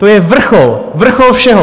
To je vrchol, vrchol všeho!